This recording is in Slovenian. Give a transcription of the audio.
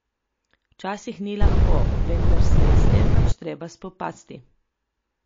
Včasih ni lahko, vendar se je s tem pač treba spopasti.